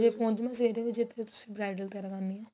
ਪੋਹਚਣਾ ਫੇਰ ਵੀ ਜੇ ਤੁਸੀਂ bridal ਤਿਆਰ ਕਰਨੀ ਏ